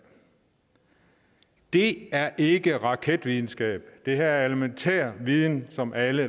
det er ikke raketvidenskab det her er elementær viden som alle